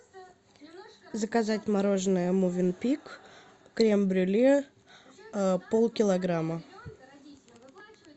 заказать мороженое мувин пик крем брюле полкилограмма